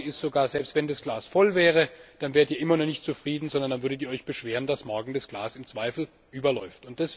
Meine Sorge ist Selbst wenn das Glas voll wäre, dann wärt ihr immer noch nicht zufrieden, sondern dann würdet ihr euch beschweren, dass morgen das Glas im Zweifel überläuft.